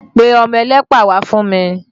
Pe ọmọ ẹlẹ́pà wá fún mi!